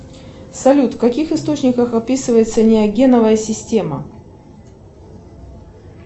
салют в каких источниках описывается неогеновая система